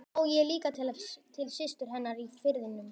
Ég var að vona að stormurinn væri genginn yfir heima.